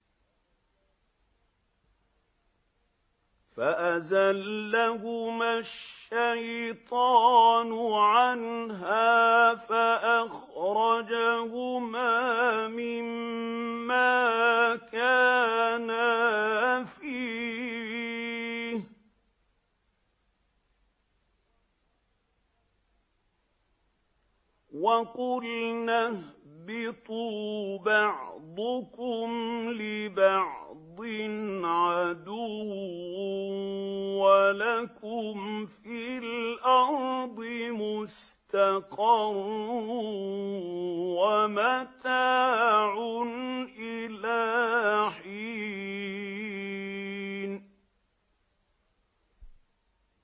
فَأَزَلَّهُمَا الشَّيْطَانُ عَنْهَا فَأَخْرَجَهُمَا مِمَّا كَانَا فِيهِ ۖ وَقُلْنَا اهْبِطُوا بَعْضُكُمْ لِبَعْضٍ عَدُوٌّ ۖ وَلَكُمْ فِي الْأَرْضِ مُسْتَقَرٌّ وَمَتَاعٌ إِلَىٰ حِينٍ